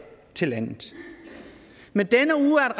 til landet men denne uge er